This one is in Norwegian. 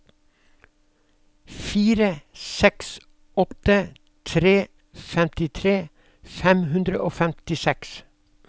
fire seks åtte tre femtitre fem hundre og femtiseks